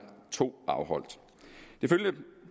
to afholdt